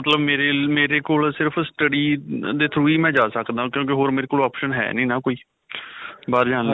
ਮਤਲੱਬ ਮੇਰੇ, ਮੇਰੇ ਕੋਲ ਸਿਰਫ study ਦੇ through ਹੀ ਜਾ ਸਕਦਾ ਕਿਉਂਕਿ ਹੋਰ ਮੇਰੇ ਕੋਲ option ਹੈ ਨਹੀਂ ਨਾਂ ਕੋਈ ਬਾਹਰ ਜਾਣ ਲਈ ਵੀ.